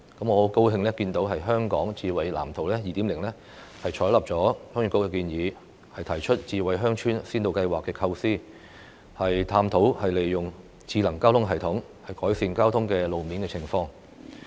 我很高興看到《香港智慧城市藍圖 2.0》採納了鄉議局的建議，提出智慧鄉村先導計劃的構思，探討利用"智能交通系統"改善路面交通情況。